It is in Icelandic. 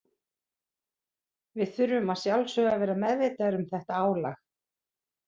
Við þurfum að sjálfsögðu að vera meðvitaðir um þetta álag.